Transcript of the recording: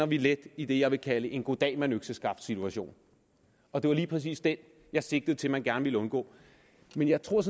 vi let i det jeg vil kalde en goddag mand økseskaft situation og det var lige præcis den jeg sigtede til at man gerne ville undgå men jeg tror